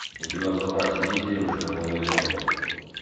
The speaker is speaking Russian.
у тебя в запасе есть девушка по вызову